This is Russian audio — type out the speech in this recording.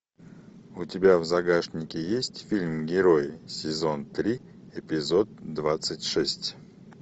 у тебя в загашнике есть фильм герои сезон три эпизод двадцать шесть